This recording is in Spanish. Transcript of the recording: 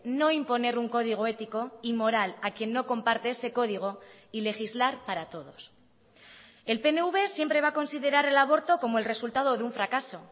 no imponer un código ético y moral a quien no comparte ese código y legislar para todos el pnv siempre va a considerar el aborto como el resultado de un fracaso